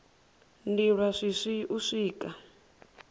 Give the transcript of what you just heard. ndi lwa shishi u swika